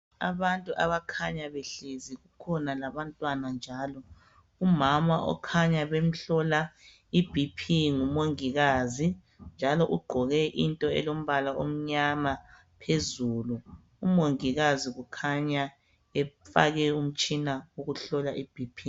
Abantu abakhanya behlezi kukhona labantwana njalo . Umama okhanya bemhlola iBP ngumongikazi njalo ugqoke into elombala omnyama phezulu. Umongikazi kukhanya emfake umtshina wokuhlola iBp.